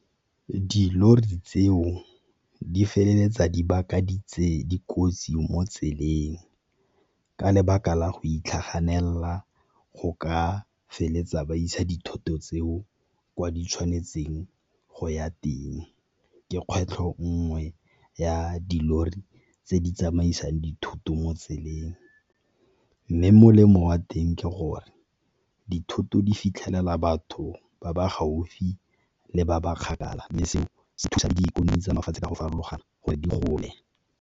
Dilori tseo di feleletsa di dikotsi mo tseleng ka lebaka la go itlhaganela go ka feleletsa ba isa dithoto tseo kwa di tshwanetseng go ya teng. Ke kgwetlho nngwe ya dilori tse di tsamaisang dithoto mo tseleng, mme molemo wa teng ke gore dithoto di fitlhelela batho ba ba gaufi le ba ba kgakala mme seo se thusa le di ikonomi tsa mafatshe a go farologana gore di gole.